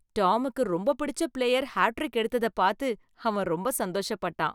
டாமுக்கு ரொம்ப பிடிச்ச player hat trick எடுத்ததை பாத்து அவன் ரொம்ப சந்தோஷப்பட்டான்.